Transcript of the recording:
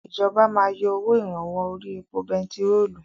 Ìjọba máa yọ owó ìrànwọ́ orí epo bentiróòlù.